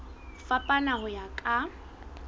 ho fapana ho ya ka